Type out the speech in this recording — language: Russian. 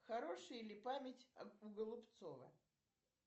хорошая ли память у голубцова